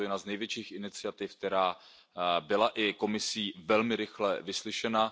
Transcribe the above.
Byla to jedna z největších iniciativ, která byla i Komisí velmi rychle vyslyšena.